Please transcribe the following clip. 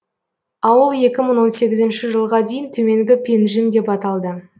ауыл екі мың он сегізінші жылға дейін төменгі пенжім деп аталды